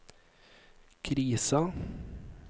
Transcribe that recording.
krisa